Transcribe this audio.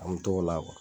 An mi t'o la